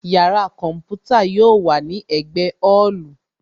Yàrá kọ̀ḿpútà yóò wà ní ẹ̀gbẹ́ ọ́ọ̀lù